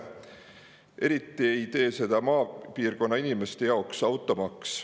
Eriti ei tee seda maapiirkonna inimeste jaoks automaks.